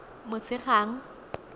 motshegang